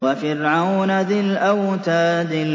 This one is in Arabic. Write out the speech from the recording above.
وَفِرْعَوْنَ ذِي الْأَوْتَادِ